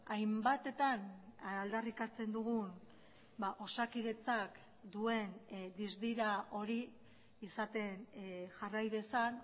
hainbatetan aldarrikatzen dugun osakidetzak duen dizdira hori izaten jarrai dezan